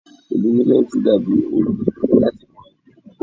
Òòlù mílẹ́tì dà bí òòul láti kan igun.